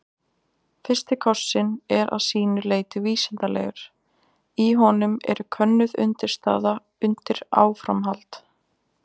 Fyrsti kossinn er að sínu leyti vísindalegur, í honum er könnuð undirstaða undir áframhald.